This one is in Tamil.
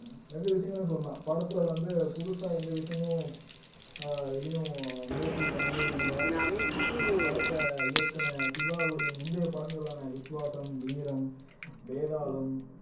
ரெண்டு விஷயங்கள சொல்லலாம் படத்துல வந்து புதுசா எந்த விஷயமும் ஆஹ் எதையும் முயற்சி பண்ணவே இல்ல படத்தை இயக்குன சிவாவுடைய முந்தைய படங்களான விஸ்வாசம், வீரம், வேதாளம்